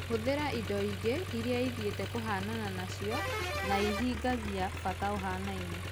Hũthĩra indo ingi iria ithiĩte kũhanana nacio na ihingagia bata ũhanaine.